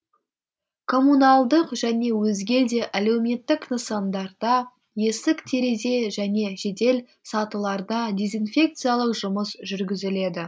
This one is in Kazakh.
коммуналдық және өзге де әлеуметтік нысандарда есік терезе және жедел сатыларда дезинфекциялық жұмыс жүргізіледі